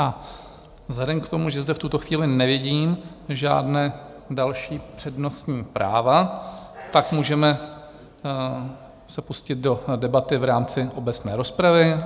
A vzhledem k tomu, že zde v tuto chvíli nevidím žádná další přednostní práva, tak můžeme se pustit do debaty v rámci obecné rozpravy.